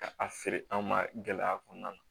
Ka a feere an ma gɛlɛya kɔnɔna na